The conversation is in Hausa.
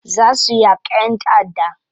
Za su yaka yan ta'adda.